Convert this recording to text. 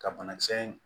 Ka banakisɛ in